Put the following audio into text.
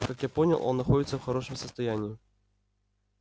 как я понял он находится в хорошем состоянии